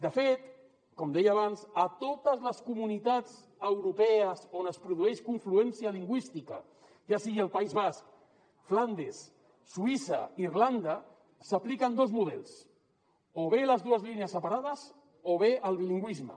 de fet com deia abans a totes les comunitats europees on es produeix confluència lingüística ja sigui el país basc flandes suïssa irlanda s’apliquen dos models o bé les dues línies separades o bé el bilingüisme